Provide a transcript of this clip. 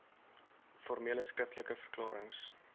formele skriftelike verklarings